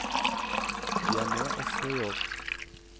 De er med også i år.